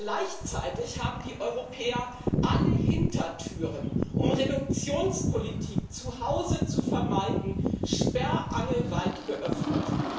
Gleichzeitig haben die Europäer alle Hintertüren, um Reduktionspolitik zu Hause zu vermeiden, sperrangelweit geöffnet.